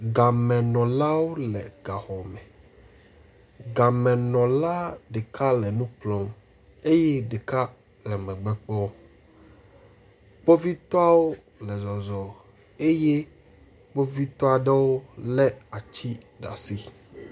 Gamenɔlawo le gaxɔme, gamenɔla ɖeka le nu kplɔm eye ɖeka le megbe kpɔm. Kpovitɔwo le zɔzɔm eye kpovitɔ aɖewo lé ati ɖe asi.